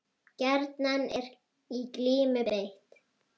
Gjarnan er í glímu beitt.